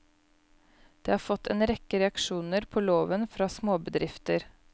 Det har fått en rekke reaksjoner på loven fra småbedrifter.